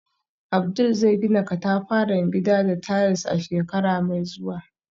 Abdul zai gina katafaren gida da tiles a shekara mai zuwa.